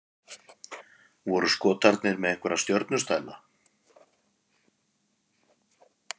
Voru Skotarnir með einhverja stjörnustæla?